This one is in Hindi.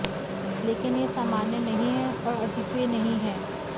लेकिन यह सामान्य नहीं है और अद्वितीय नहीं है